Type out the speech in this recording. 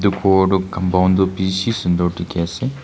Etu ghor toh compound toh beshi sundor dekhi ase.